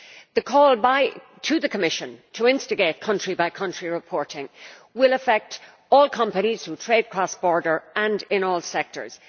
The call to the Commission to instigate country by country reporting will affect all companies who trade across borders in all sectors.